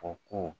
O ko